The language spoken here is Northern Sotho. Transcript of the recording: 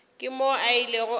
ke moo a ilego a